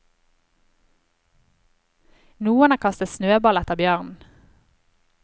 Noen har kastet snøball etter bjørnen.